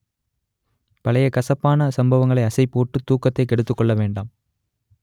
பழைய கசப்பான சம்பவங்களை அசைப் போட்டு தூக்கத்தை கெடுத்துக் கொள்ள வேண்டாம்